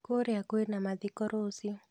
Kũrĩa kwĩna mathiko rũciũ